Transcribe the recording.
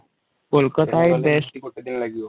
କୋଳକଟ ହ୍ନି ବେଷ୍ଟ |